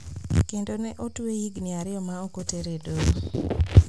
Kendo ne otweye higni ariyo ma ok otere e doho